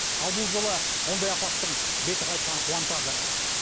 ал бұл жолы ондай апаттың беті қайтқаны қуантады